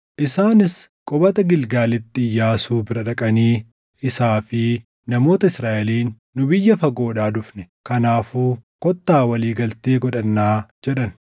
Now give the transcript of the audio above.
Isaanis qubata Gilgaalitti Iyyaasuu bira dhaqanii isaa fi namoota Israaʼeliin, “Nu biyya fagoodhaa dhufne; kanaafuu kottaa walii galtee godhannaa” jedhan.